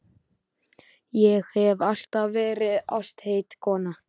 Ég hef alltaf verið ástheit kona.